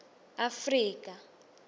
afrika